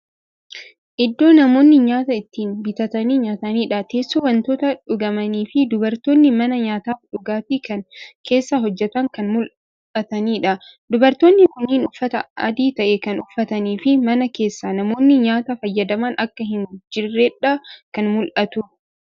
Iddoo namoonni nyaata itti bitatanii nyataniidha. Teessoo, wantoota dhugamanii fii dubartoonni mana nyaataf dhugaatii kana keessa hojjatan kan mul'ataniidha. Dubartoonni kunniin uffata adii ta'e kan uffatanii fi mana keessa namoonni nyaata fayyadaman akka hin jirreedha kan mul'atu.